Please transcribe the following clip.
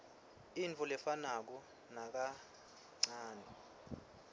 intfo lefanako nakancanei